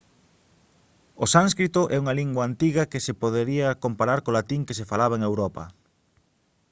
o sánscrito é unha lingua antiga que se podería comparar co latín que se falaba en europa